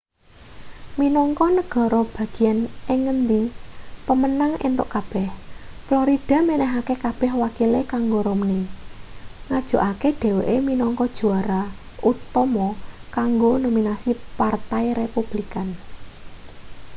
minangka negara bagian ing ngendi pemenang entuk kabeh florida menehake kabeh wakile kanggo romney ngajokake dheweke minangka juara utama kanggo nominasi partai republikan